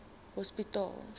hospitaal